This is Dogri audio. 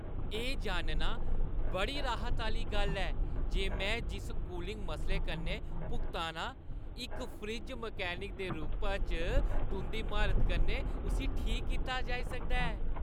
एह् जानना बड़ी राहत दी गल्ल ऐ जे में जिस कूलिंग मसले कन्नै भुगता ना आं, इक फ्रिज मैकेनिक दे रूपा च तुंʼदी म्हारत कन्नै उस्सी ठीक कीता जाई सकदा ऐ।